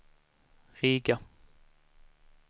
Riga